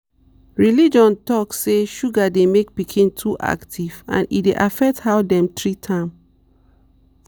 religion talk say sugar dey make pikin too active and e dey affect how dem treat am.